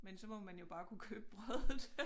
Men så må man jo bare kunne købe brødet